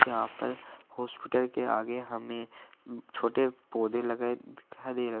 यहां पर हॉस्पिटल के आगे हमें छोटे पौधे लगाए दिखाई दे रहे है।